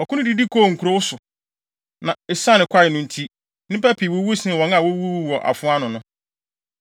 Ɔko no didi kɔɔ nkurow so, na esiane kwae no nti, nnipa pii wuwu sen wɔn a wowuwuu wɔ afoa ano no.